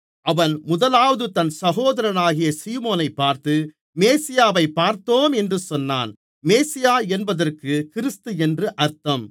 அவன் முதலாவது தன் சகோதரனாகிய சீமோனைப் பார்த்து மேசியாவைப் பார்த்தோம் என்று சொன்னான் மேசியா என்பதற்கு கிறிஸ்து என்று அர்த்தம்